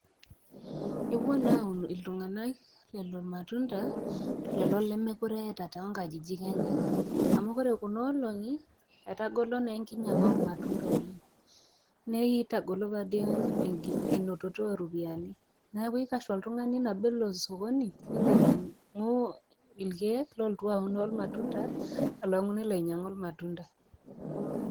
Ewuo naa aun iltung'ana lelo matunda lelo lemekure eata too nkajijik enye amu kore kuna oolong'i, etagolo naa enkinyanga oo lmatunda oleng'. Netagolo paa dei enototo o ropiani, neaku eikash oltung'ani nabo elo sokoni neloainyangu ilkeek olotu aun olmatunda, alang'u nelo ainyang'u ilmatunda.